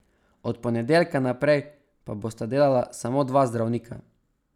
Od ponedeljka naprej pa bosta delala samo dva zdravnika.